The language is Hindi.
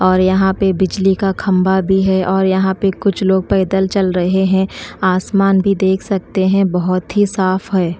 और यहां पे बिजली का खंभा भी है और यहां पे कुछ लोग पैदल चल रहे हैं आसमान भी देख सकते हैं बहुत ही साफ है।